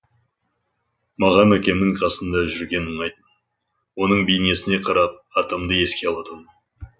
маған әкемнің қасында жүрген ұнайды оның бейнесіне қарап атамды еске алатынмын